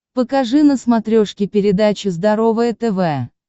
покажи на смотрешке передачу здоровое тв